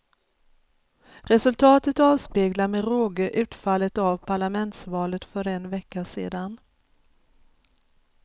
Resultatet avspeglar med råge utfallet av parlamentsvalet för en vecka sedan.